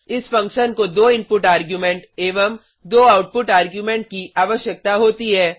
इस फंक्शन को दो इनपुट आर्ग्युमेंट एवं दो आउटपुट आर्ग्युमेंट की आवश्यकता होती है